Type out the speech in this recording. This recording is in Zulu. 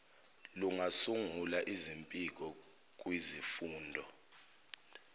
lungasungula izimpiko kwizifunda